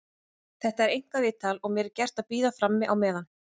Þetta er einkaviðtal og mér er gert að bíða frammi á meðan.